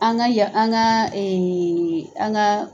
An ka yan an ka an ka